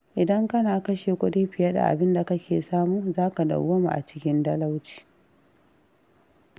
Idan kana kashe kuɗi fiye da abinda kake samu zaka dauwama a cikin talauci.